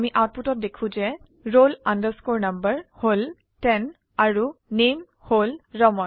আমি আউটপুটত দেখো যে roll number হল 10 আৰু নামে হল ৰামান